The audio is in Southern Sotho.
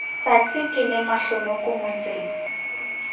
tsatsi ke le mahlonoko motseng